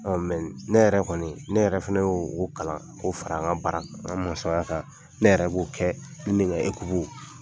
ne yɛrɛ kɔni ne yɛrɛ fana y'o kalan k' o fara an ka baara kan n ka ne kan.